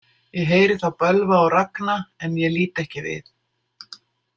Ég heyri þá bölva og ragna en ég lít ekki við.